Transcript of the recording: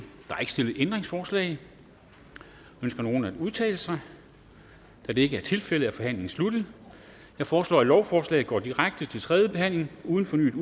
ændringsforslag ønsker nogen at udtale sig da det ikke er tilfældet er forhandlingen sluttet jeg foreslår at lovforslaget går direkte til tredje behandling uden fornyet